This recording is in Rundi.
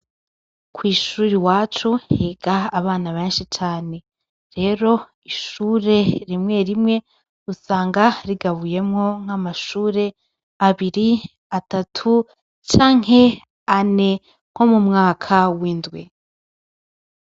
Ku shuri iwacu higa abana beshi cane rero ishuri rimwe rimwe usanga rigabuyemwo nka mashuri abiri, atatu canke ane nko mu mwaka w'indwi.